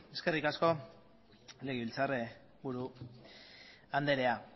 eskerrik asko legebiltzarburu andrea